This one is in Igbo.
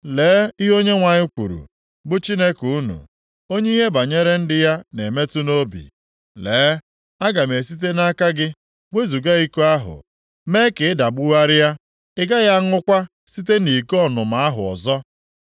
Lee ihe Onyenwe anyị kwuru, bụ Chineke unu, onye ihe banyere ndị ya na-emetụ nʼobi. “Lee, aga m esite nʼaka gị wezuga iko ahụ mere ka ị dagbugharịa, ị gaghị aṅụkwa site nʼiko ọnụma ahụ ọzọ.